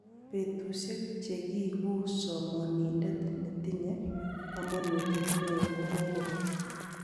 Betusiek chegiiguu somonindet netinye komuuet neoo kogobeek.